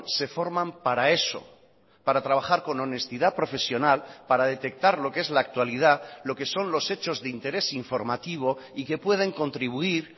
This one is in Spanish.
se forman para eso para trabajar con honestidad profesional para detectar lo que es la actualidad lo que son los hechos de interés informativo y que pueden contribuir